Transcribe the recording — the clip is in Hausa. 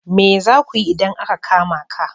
Me za ku yi idan aka kama ka?